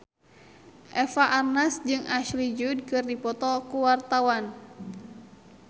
Eva Arnaz jeung Ashley Judd keur dipoto ku wartawan